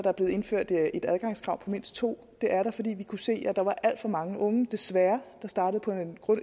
er blevet indført et adgangskrav på mindst to det er fordi vi kunne se at der var alt for mange unge desværre der startede på